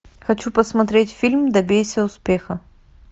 хочу посмотреть фильм добейся успеха